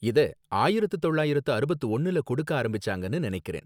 இத ஆயிரத்து தொள்ளாயிரத்து அறுபத்து ஒன்னுல கொடுக்க ஆரம்பிச்சாங்கனு நனைக்கிறேன்